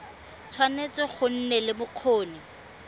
tshwanetse go nna le bokgoni